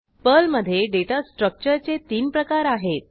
पर्लमधे data स्ट्रक्चरचे तीन प्रकार आहेत